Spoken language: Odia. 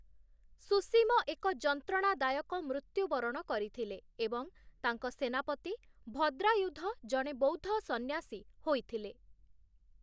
ସୁସୀମ ଏକ ଯନ୍ତ୍ରଣାଦାୟକ ମୃତ୍ୟୁବରଣ କରିଥିଲେ ଏବଂ ତାଙ୍କ ସେନାପତି ଭଦ୍ରାୟୁଧ ଜଣେ ବୌଦ୍ଧ ସନ୍ନ୍ୟାସୀ ହୋଇଥିଲେ ।